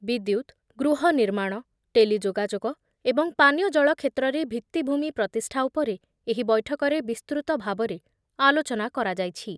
ବିଦ୍ୟୁତ୍, ଗୃହ ନିର୍ମାଣ, ଟେଲି ଯୋଗାଯୋଗ ଏବଂ ପାନିୟ ଜଳ କ୍ଷେତ୍ରରେ ଭିଭିଭୂମି ପ୍ରତିଷ୍ଠା ଉପରେ ଏହି ବୈଠକରେ ବିସ୍ତୃତ ଭାବରେ ଆଲୋଚନା କରାଯାଇଛି ।